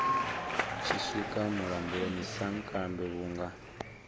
tshi swika mulamboni sankambe vhunga